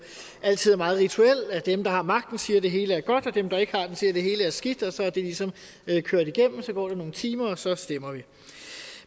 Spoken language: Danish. altid meget rituel at dem der har magten siger at det hele er godt og dem der ikke har den siger at det hele er skidt og så er det ligesom kørt igennem og så går der nogle timer og så stemmer vi